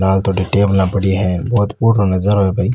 लाल तो टेबला पड़ी है बहुत फूटरों नजारा है भाई।